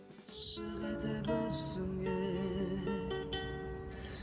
ғашық етіп өзіңе